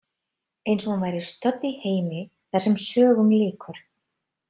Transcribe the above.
Eins og hún væri stödd í heimi þar sem sögum lýkur.